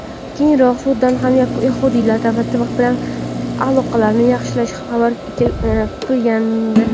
Keyinroq Sudan ham yahudiylar davlati bilan aloqalarni yaxshilashi xabar qilingandi.